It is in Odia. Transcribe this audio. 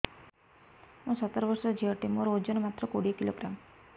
ମୁଁ ସତର ବର୍ଷ ଝିଅ ଟେ ମୋର ଓଜନ ମାତ୍ର କୋଡ଼ିଏ କିଲୋଗ୍ରାମ